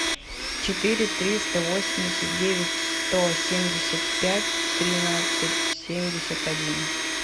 четыре триста восемьдесят девять сто семьдесят пять тринадцать семьдесят один